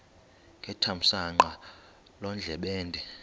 ngethamsanqa loo ndlebende